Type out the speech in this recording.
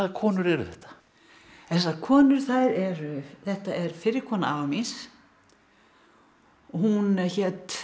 konur eru þetta þessar konur eru þetta er fyrri kona afa míns hún hét